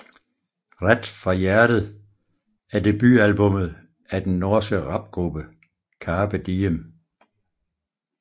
Rett fra hjertet er debutalbumet af den norske rapgruppe Karpe Diem